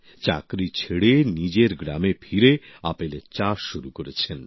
চাকরি ছেড়ে নিজের গ্রামে ফিরে আপেলের চাষ শুরু করেছেন